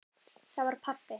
Það var pabbi!